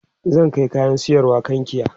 zan Kai kayan sayarwa kankia